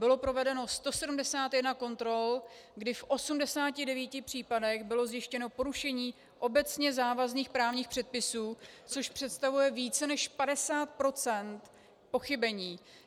Bylo provedeno 171 kontrol, kdy v 89 případech bylo zjištěno porušení obecně závazných právních předpisů, což představuje více než 50 % pochybení.